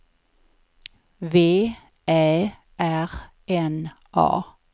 V Ä R N A